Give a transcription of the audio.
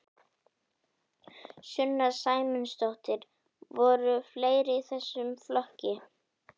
Sunna Sæmundsdóttir: Voru fleiri í þessum flokki?